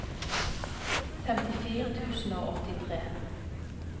femtifire tusen og åttitre